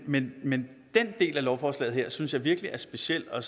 men men den del af lovforslaget synes jeg virkelig er speciel og